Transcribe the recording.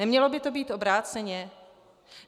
Nemělo by to být obráceně?